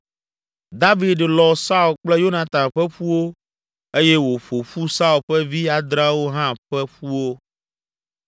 David lɔ Saul kple Yonatan ƒe ƒuwo eye wòƒo ƒu Saul ƒe vi adreawo hã ƒe ƒuwo.